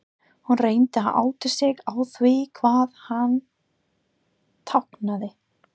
Hún reyndi að átta sig á því hvað hann táknaði.